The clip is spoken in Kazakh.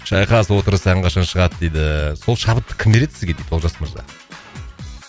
шайқас отырыс ән қашан шығады дейді сол шабытты кім береді сізге дейді олжас мырза